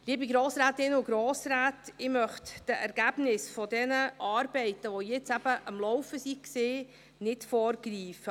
Liebe Grossrätinnen und Grossräte, ich möchte den Ergebnissen dieser Arbeiten, welche jetzt am Laufen waren, nicht vorgreifen.